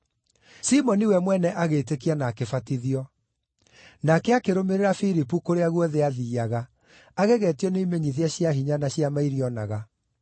Simoni we mwene agĩĩtĩkia na akĩbatithio. Nake akĩrũmĩrĩra Filipu kũrĩa guothe aathiiaga, agegetio nĩ imenyithia cia hinya na ciama iria onaga.